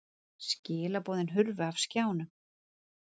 Skilaboðin hurfu af skjánum.